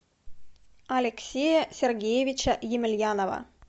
алексея сергеевича емельянова